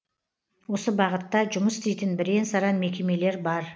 осы бағытта жұмыс істейтін бірен саран мекемелер бар